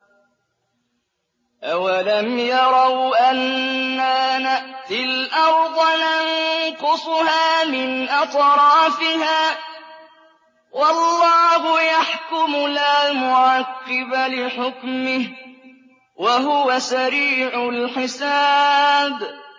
أَوَلَمْ يَرَوْا أَنَّا نَأْتِي الْأَرْضَ نَنقُصُهَا مِنْ أَطْرَافِهَا ۚ وَاللَّهُ يَحْكُمُ لَا مُعَقِّبَ لِحُكْمِهِ ۚ وَهُوَ سَرِيعُ الْحِسَابِ